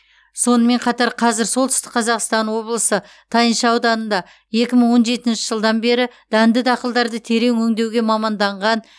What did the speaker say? сонымен қатар қазір солтүстік қазақстан облысы тайынша ауданында екі мың он жетінші жылдан бері дәнді дақылдарды терең өңдеуге маманданған